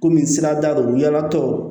Kɔmi sirada lo yalatɔ